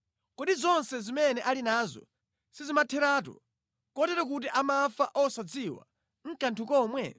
Kodi zonse zimene ali nazo sizimatheratu, kotero kuti amafa osadziwa nʼkanthu komwe?’